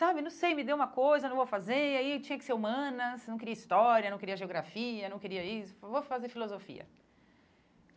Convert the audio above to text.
Sabe, não sei, me deu uma coisa, não vou fazer e aí tinha que ser humanas, não queria história, não queria geografia, não queria isso, vou fazer filosofia.